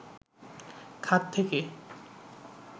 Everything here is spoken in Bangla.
খাত থেকে